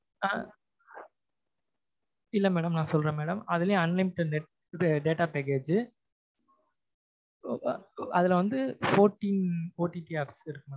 இல்லை madam நான் சொல்றேன் madam அதுலயும் unlimited net data package அதுல வந்து fourteen OTT இருக்கு mam